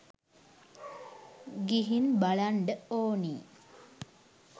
ගිහින් බලන්ඩ ඕනි